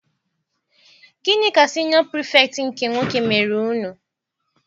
Gịnị ka siniọ Pirifetktị nke nwoke mere unu?